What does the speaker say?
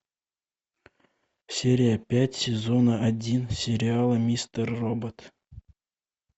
серия пять сезона один сериала мистер робот